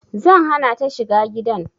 Zan hana ta shiga gidan